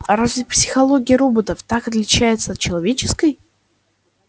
а разве психология роботов так отличается от человеческой